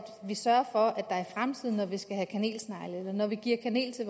sørge for at der i fremtiden når vi skal have kanelsnegle eller når vi giver kanel til